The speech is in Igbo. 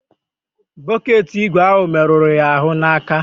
Bọket ígwè ahụ merụrụ ya ahụ n'aka.